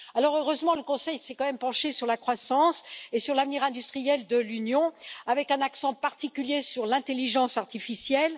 Alors, heureusement, le Conseil s'est quand même penché sur la croissance et sur l'avenir industriel de l'Union, avec un accent particulier sur l'intelligence artificielle.